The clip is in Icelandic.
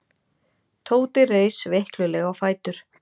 Tóti reis veiklulega á fætur.